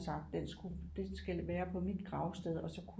Og sagt den skulle det skal være på mit gravsted og så kunne